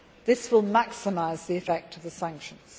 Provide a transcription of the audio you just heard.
oil. This will maximise the effect of the sanctions.